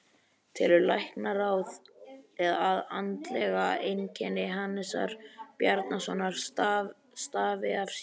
Telur Læknaráð, að andleg einkenni Hannesar Bjarnasonar stafi af slysinu?